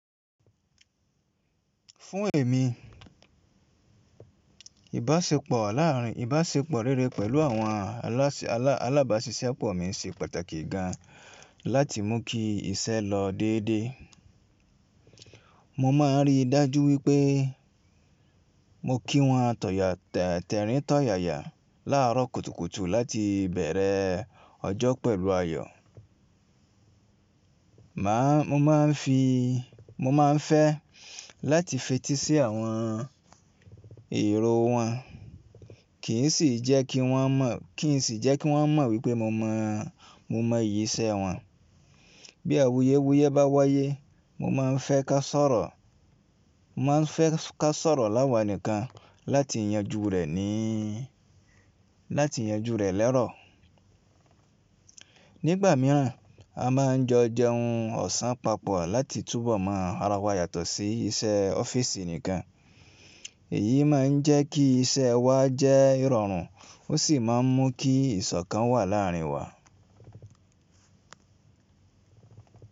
Fún èmi, ìbáṣepọ̀ láàrín, ìbáṣepọ̀ rere pẹ̀lú àwọn alá, alábáṣiṣẹ́ pọ̀ mi ṣe pàtàkì gan láti mú kí iṣẹ́ lọ déédé. Mo máa n rí i dájú wípé mo kí wọn tọ̀yà tẹ́rìn tọ̀yàya láàárọ̀ kùtùkùtù láti bẹ̀rẹ̀ ọjọ́ pẹ̀lú ayọ̀. Má, mo má n fi, mo má n fẹ́ láti fetí sí àwọn èrò wọn, kì í sì jẹ́ kí wọ́n mọ̀, kì í sì jẹ́ kí wọ́n mọ̀ wípé mo mọ, mo mọ iyì iṣẹ́ wọn. Bí awuyewuye bá wáyé, mo má n fẹ́ ká sọ̀rọ̀, mo má n fẹ́ ká sọ̀rọ̀ láwà nìkan láti yanjú rẹ̀ ní, láti yanjú rẹ̀ lẹ́rọ̀. Nígbà mìíràn, a má n jọ jẹ ohun ọ̀sán papọ̀ láti túbọ̀ mọ ara wa yàtọ̀ sí iṣẹ́ ọ́fíìsì nìkan. Èyí má n jẹ́ kí iṣẹ́ wa jẹ́ ìrọ̀rùn ó sì má n mú kí ìṣọ̀kan wà láà rín wa.